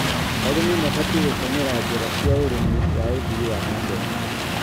Arĩmi mabatie gũtũmĩra njĩra cia ũrĩmi wa ũthii wa na mbere.